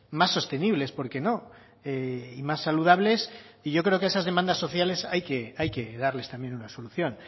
más sostenibles por qué no y más saludables y yo creo que a esas demandas sociales hay que hay que darles también una solución